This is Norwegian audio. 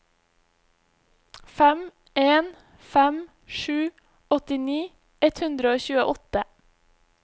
fem en fem sju åttini ett hundre og tjueåtte